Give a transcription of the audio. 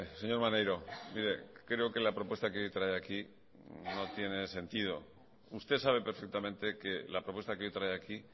señor maneiro mire creo que la propuesta que hoy trae aquí no tiene sentido usted sabe perfectamente que la propuesta que hoy trae aquí